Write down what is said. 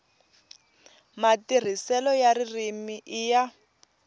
matirhiselo ya ririmi i ya